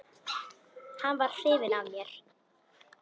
Hann var hrifinn af mér.